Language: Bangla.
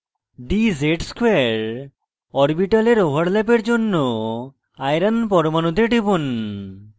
dz ^ 2 orbitals ওভারল্যাপের জন্য iron fe পরমানুতে টিপুন